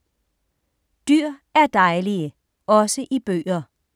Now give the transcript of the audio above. Dyr er dejlige - også i bøger